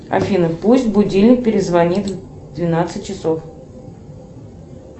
афина пусть будильник перезвонит в двенадцать часов